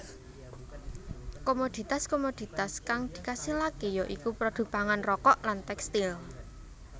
Komoditas komoditas kang dikasilaké ya iku produk pangan rokok lan tèkstil